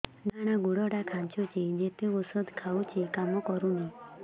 ଡାହାଣ ଗୁଡ଼ ଟା ଖାନ୍ଚୁଚି ଯେତେ ଉଷ୍ଧ ଖାଉଛି କାମ କରୁନି